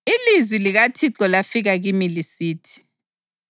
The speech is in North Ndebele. Ilizwi likaThixo lafika kimi lisithi: